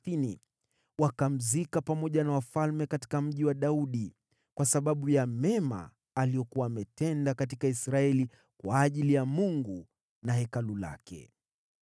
Wakamzika pamoja na wafalme katika Mji wa Daudi, kwa sababu ya mema aliyokuwa ametenda katika Israeli kwa ajili ya Mungu na Hekalu lake.